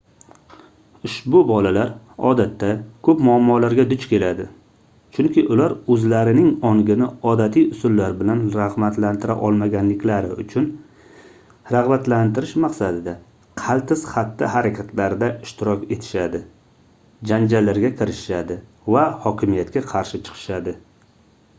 ushbu bolalar odatda koʻp muammolarga duch keladi chunki ular oʻzlarining ongini odatiy usullar bilan ragʻbatlantira olmaganliklari uchun ragʻbatlantirish maqsadida qaltis xatti-harakatlarda ishtirok etishadi janjallarga kirishishadi va hokimiyatga qarshi chiqishadi